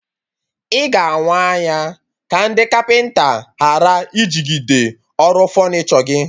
Ị ga awa anya ka ndị kapịnta ghara ijigide ọrụ fọnichọ gị